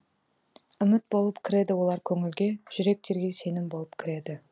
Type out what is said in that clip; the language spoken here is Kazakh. үміт болып кіреді олар көңілге жүректерге сенім болып кіреді